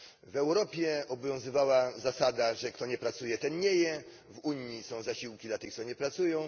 W Europie obowiązywała zasada, że kto nie pracuje, ten nie je w Unii są zasiłki dla tych, co nie pracują.